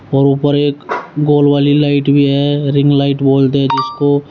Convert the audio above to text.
और ऊपर एक गोल वाली लाइट भी है रिंग लाइट बोलते हैं जिसको।